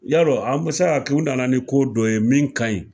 Yarɔ an bɛ se ka kɛ u nana ni ko dɔ ye min ka ɲi